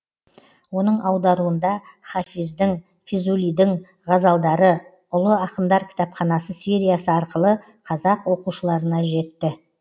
оның аударуында хафиздің физулидің ғазалдары улы ақындар кітапханасы сериясы арқылы қазақ оқушыларына жетті